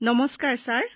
নমস্কাৰ ছাৰ